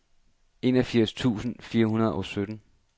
enogfirs tusind fire hundrede og sytten